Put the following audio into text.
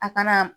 A kana